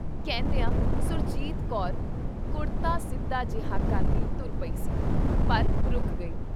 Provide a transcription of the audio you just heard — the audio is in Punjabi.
ਕਹਿੰਦਿਆਂ ਸੁਰਜੀਤ ਕੌਰ ਕੁੜਤਾ ਸਿੱਧਾ ਜਿਹਾ ਕਰਦੀ ਤੁਰ ਪਈ ਸੀ, ਪਰ ਰੁਕ ਗਈ।